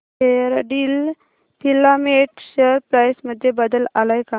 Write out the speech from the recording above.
Fairdeal filament share price मध्ये बदल आलाय का